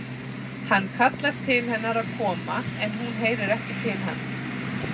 Hann kallar til hennar að koma en hún heyrir ekki til hans.